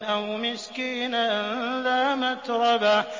أَوْ مِسْكِينًا ذَا مَتْرَبَةٍ